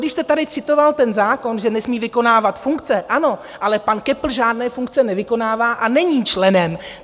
Když jste tady citoval ten zákon, že nesmí vykonávat funkce: ano, ale pan Köppl žádné funkce nevykonává a není členem.